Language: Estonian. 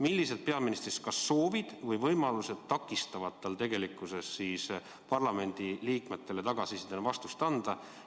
Millised peaministri soovid või võimalused takistavad tal parlamendiliikmetele tagasisidena vastust anda?